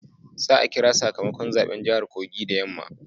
Za a kira sakamakon zaben jahar Kogi da yamma